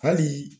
Hali